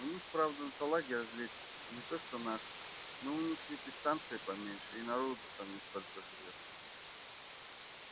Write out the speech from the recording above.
у них правда салаги разведчики не то что наши но у них ведь и станция поменьше и народу там не столько живёт